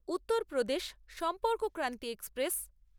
Uttar Pradesh Sampark Kranti express